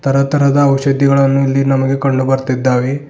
ಎಲ್ಲಾ ತರದ ಔಷಧಿಗಳು ಇಲ್ಲಿ ನಮಗೆ ಕಂಡು ಬರ್ತಿದ್ದಾವೆ.